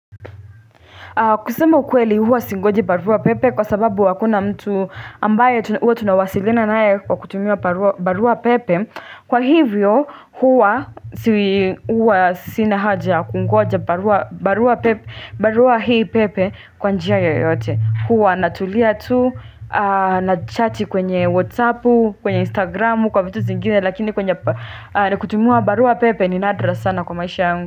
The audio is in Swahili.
Kusema ukweli huwa singoji barua pepe kwa sababu hakuna mtu ambaye huwa tunawasilina nae kwa kutumia barua pepe Kwa hivyo huwa sinahaja kungoja barua pepe barua hii pepe kwa njia yoyote huwa natulia tu na chati kwenye whatsappu kwenye instagramu kwa vitu zingine lakini kwenye kutumia barua pepe ni nadra sana kwa maisha yungu.